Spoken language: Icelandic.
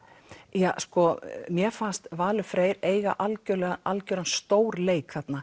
já mér fannst Valur Freyr eiga algjöran algjöran stórleik þarna